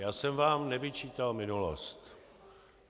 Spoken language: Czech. Já jsem vám nevyčítal minulost.